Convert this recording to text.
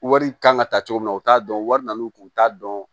Wari kan ka ta cogo min na u t'a dɔn wari n'u kun t'a dɔn